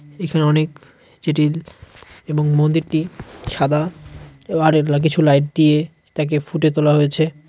এখানে অনেক যেটি এবং মন্দিরটি সাদা এও আরেরলা কিছু লাইট দিয়ে তাকে ফুটে তোলা হয়েছে।